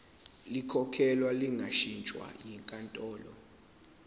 likhokhelwe lingashintshwa yinkantolo